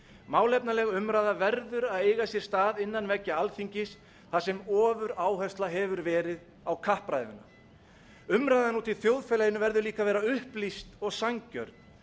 málefnaleg umræða verður að eiga sér stað innan veggja alþingis þar sem ofuráhersla hefur verið á kappræðuna umræðan úti í þjóðfélaginu verður líka að vera upplýst og sanngjörn